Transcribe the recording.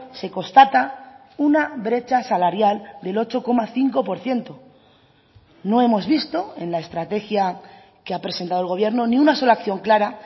se constata una brecha salarial del ocho coma cinco por ciento no hemos visto en la estrategia que ha presentado el gobierno ni una sola acción clara